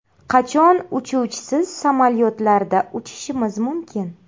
Qachon uchuvchisiz samolyotlarda uchishimiz mumkin?.